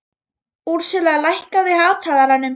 Á ég þá líka að verða vitlaus eða hvað?